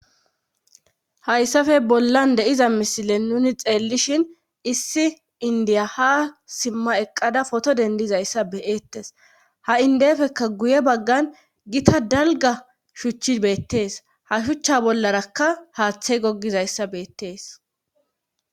Hayssafe bollan deiza misile nuni xeellishhin issi indiya ha simma eqqada foto dendizayssa beeettes ha indefekka guye baggan gita dalga shuchchi beettees ha shuchcha bollarakka haaththey gogizayssa beettees.